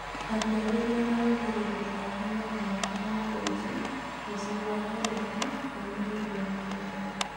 Akĩarĩria arũmĩrĩri ake mwena wa Kamukunji mũciĩ wa Nairobi ũmũthĩ wakerĩ.